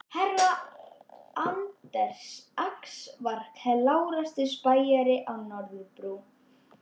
Herra Anders Ax var klárasti spæjarinn á Norðurbrú.